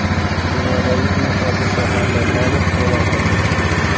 Dunyodagi eng xavfli shaharlar nomi e’lon qilindi.